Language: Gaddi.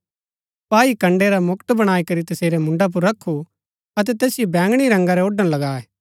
सपाई कण्ड़ै रा मुकुट बणाई करी तसेरै मुन्डा पुर रखु अतै तैसिओ बैंगणी रंगा रै ओड़ण लगाये